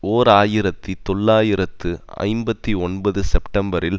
ஓர் ஆயிரத்தி தொள்ளாயிரத்து ஐம்பத்தி ஒன்பது செப்டம்பரில்